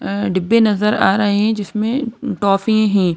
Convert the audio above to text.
अ डिब्बे नजर आ रहे हैं जिसमें टॉफी हैं।